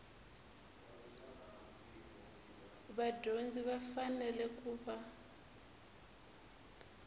vadyondzi va fanele ku va